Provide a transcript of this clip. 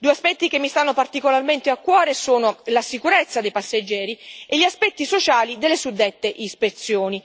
Due aspetti che mi stanno particolarmente a cuore sono la sicurezza dei passeggeri e gli aspetti sociali delle suddette ispezioni.